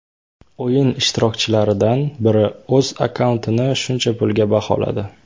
O‘yin ishtirokchilaridan biri o‘z akkauntini shuncha pulga baholadi.